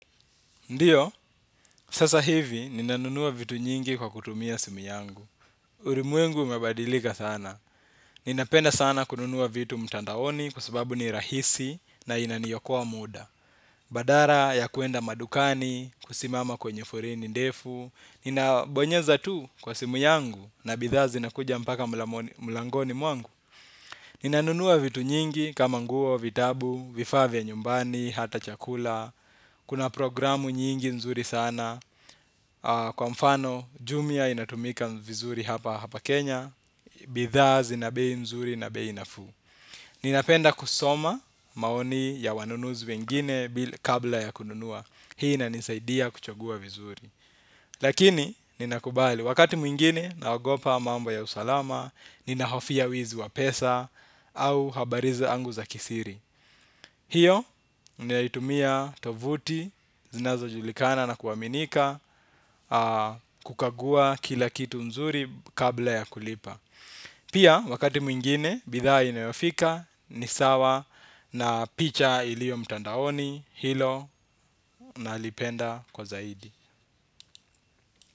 Ndiyo, sasa hivi ninanunua vitu nyingi kwa kutumia simu yangu. Urimwengu umebadilika sana. Ninapenda sana kununua vitu mtandaoni kwa sababu ni rahisi na inaniokoa muda. Badara ya kuenda madukani, kusimama kwenye foreni ndefu. Ninabonyeza tu kwa simu yangu na bidhaa zinakuja mpaka mlangoni mwangu. Ninanunua vitu nyingi kama nguo, vitabu, vifaa vya nyumbani, hata chakula. Kuna programu nyingi nzuri sana. Kwa mfano, jumia inatumika vizuri hapa hapa Kenya, bidhaa zina bei mzuri na bei nafuu. Ninapenda kusoma maoni ya wanunuzi wengine kabla ya kununua. Hii inanisaidia kuchagua vizuri. Lakini, ninakubali wakati mwingine naogopa mambo ya usalama, ninahofia wizi wa pesa au habari zangu za kisiri. Hiyo ninaitumia tovuti zinazojulikana na kuaminika kukagua kila kitu nzuri kabla ya kulipa. Pia wakati mwingine bidhaa inayofika ni sawa na picha ilio mtandaoni hilo nalipenda kwa zaidi.